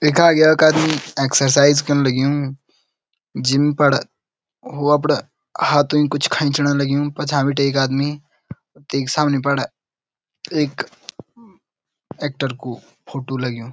यखा यख अभी एक्सरसाइज कण लग्युं जिम पर वो अपड़ा हाथुल कुछ खैंचण लग्युं पछा बिटि एक आदमी ठीक सामने पर एक एक्टर कु फोटू लग्युं।